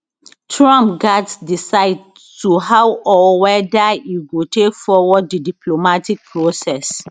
trump gatz decide how or weda e go take forward di diplomatic process